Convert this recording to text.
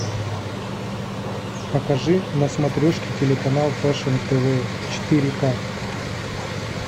покажи на смотрешке телеканал фэшн тв четыре к